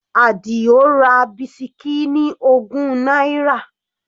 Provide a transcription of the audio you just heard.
Adio ra bisikí ní ogún náírà.